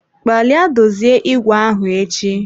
Gbalịa dozie ìgwè e ahụ echi.